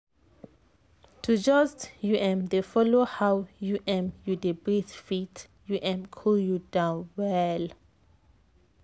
to just u m dey follow how u m you dey breathe fit u m cool you down well.